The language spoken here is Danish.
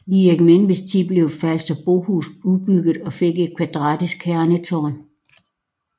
I Erik Menveds tid blev Falsterbohus udbygget og fik et kvadratisk kernetårn